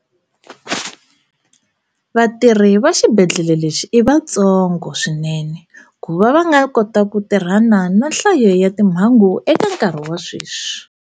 Vatirhi va xibedhlele lexi i vatso ngo swinene ku va va nga kota ku tirhana na nhlayo ya timhangu eka nkarhi wa sweswi.